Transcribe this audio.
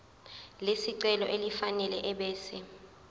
lesicelo elifanele ebese